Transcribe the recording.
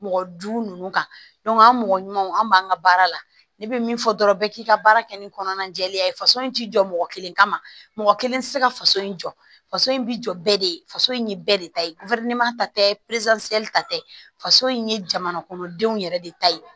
Mɔgɔ duuru ninnu kan an mɔgɔ ɲumanw an b'an ka baara la ne bɛ min fɔ dɔrɔn bɛɛ k'i ka baara kɛ ni kɔnɔna jɛlenya ye faso in ti jɔ mɔgɔ kelen kama mɔgɔ kelen tɛ se ka faso in jɔ faso in bi jɔ bɛɛ de ye faso in ye bɛɛ de ta ye ta tɛ faso in ye jamana kɔnɔ denw yɛrɛ de ta ye